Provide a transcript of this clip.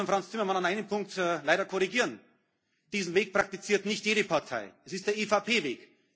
Ich muss Frans Timmermans in einem Punkt leider korrigieren Diesen Weg praktiziert nicht jede Partei es ist der